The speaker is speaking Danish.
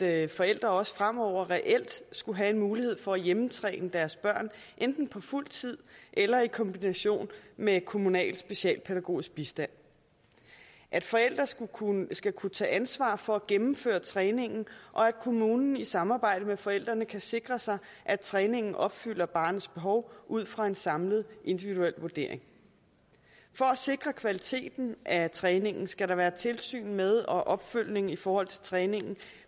at forældre også fremover reelt skal have en mulighed for at hjemmetræne deres børn enten på fuld tid eller i kombination med kommunal socialpædagogisk bistand at forældre skal kunne skal kunne tage ansvar for at gennemføre træningen og at kommunen i samarbejde med forældrene kan sikre sig at træningen opfylder barnets behov ud fra en samlet individuel vurdering for at sikre kvaliteten af træningen skal der være tilsyn med og opfølgning i forhold til træningen